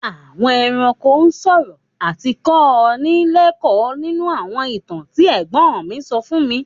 Àwọn ẹranko ń sọ̀rọ̀ àti kọ́ ni lẹ́kọ́ọ̀ nínú àwọn ìtàn tí ẹ̀gbón mi so fún mi.